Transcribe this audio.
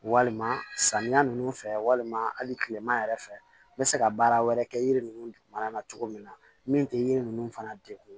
Walima samiya nunnu fɛ walima hali kilema yɛrɛ fɛ n be se ka baara wɛrɛ kɛ yiri nunnu dugumana na cogo min na min te yiri nunnu fana degun